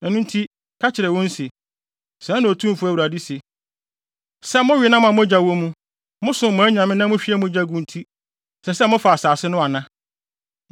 Ɛno nti, ka kyerɛ wɔn se, ‘Sɛɛ na Otumfo Awurade se: Sɛ mowe nam a mogya wɔ mu, mosom mo anyame na muhwie mogya gu nti, ɛsɛ sɛ mofa asase no ana?